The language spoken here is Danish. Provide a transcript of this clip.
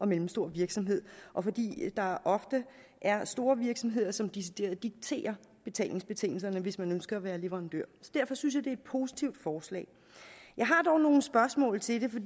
mellemstor virksomhed og fordi der ofte er store virksomheder som decideret dikterer betalingsbetingelserne hvis man ønsker at være leverandør så derfor synes jeg det er et positivt forslag jeg har dog nogle spørgsmål til det